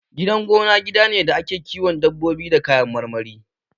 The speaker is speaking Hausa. Gidan gona gida ne da ake kiwon dabbobi da kayan marmari